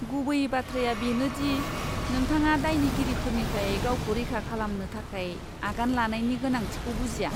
गुबै बाथ्राया बेनो दि नोंथाङा दायनिगिरिफोरनिफ्राय गावखौ रैखा खालामनो थाखाय आगान लानायनि गोनांथिखौ बुजिया।